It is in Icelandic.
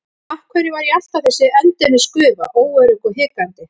Af hverju var ég alltaf þessi endemis gufa, óörugg og hikandi?